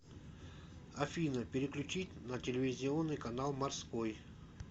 афина переключить на телевизионный канал морской